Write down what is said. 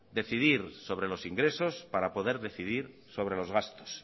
decidir sobre los ingresos para poder decidir sobre los gastos